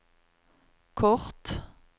kort